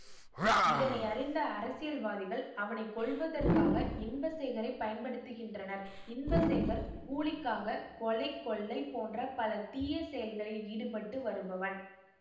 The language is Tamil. இதனையறிந்த அரசியல்வாதிகள் அவனை கொல்வதற்காக இன்பசேகரை பயன்படுத்துகின்றனர் இன்பசேகர் கூலிக்காக கொலை கொள்ளை போன்ற பல தீய செயல்களில் ஈடுபட்டு வருபவன்